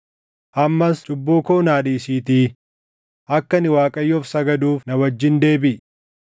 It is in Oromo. Ammas cubbuu koo naa dhiisiitii akka ani Waaqayyoof sagaduuf na wajjin deebiʼi.”